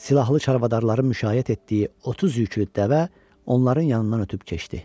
Silahlı çarvadarların müşayiət etdiyi 30 yüklü dəvə onların yanından ötüb keçdi.